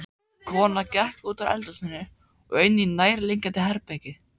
Konan gekk útúr eldhúsinu og inní nærliggjandi herbergi.